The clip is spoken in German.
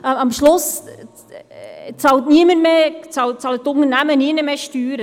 Am Schluss bezahlen die Unternehmen nirgendwo mehr Steuern.